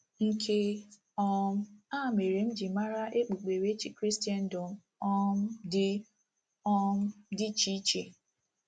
Nke um a mere m jiri mara okpukperechi Kristendom um dị um dị iche iche..